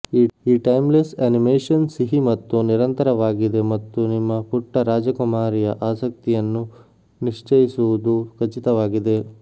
ಈ timeless animation ಸಿಹಿ ಮತ್ತು ನಿರಂತರವಾಗಿದೆ ಮತ್ತು ನಿಮ್ಮ ಪುಟ್ಟ ರಾಜಕುಮಾರಿಯ ಆಸಕ್ತಿಯನ್ನು ನಿಶ್ಚಯಿಸುವುದು ಖಚಿತವಾಗಿದೆ